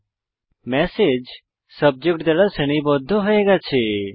এখন message subject দ্বারা শ্রেণীবদ্ধ হয়ে গেছে